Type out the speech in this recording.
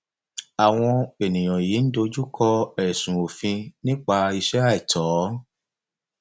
àwọn ènìyàn yìí ń dojú kọ ẹsùn òfin nípa iṣẹ àìtọ